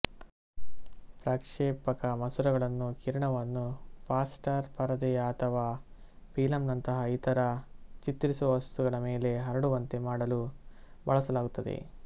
ಪ್ರಕ್ಷೇಪಕ ಮಸೂರಗಳನ್ನು ಕಿರಣವನ್ನು ಫಾಸ್ಫರ್ ಪರದೆಯ ಅಥವಾ ಫಿಲಂನಂತಹ ಇತರ ಚಿತ್ರಿಸುವ ವಸ್ತುಗಳ ಮೇಲೆ ಹರಡುವಂತೆ ಮಾಡಲು ಬಳಸಲಾಗುತ್ತದೆ